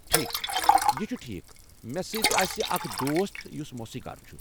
ٹھیٖکھ، یہِ چھُ ٹھیٖکھ۔ مےٚ سۭتۍ آسہِ اکھ دوست یُس موسیٖقار چھُ ۔